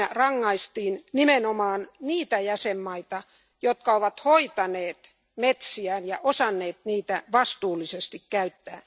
Siinä rangaistiin nimenomaan niitä jäsenmaita, jotka ovat hoitaneet metsiään ja osanneet niitä vastuullisesti käyttää.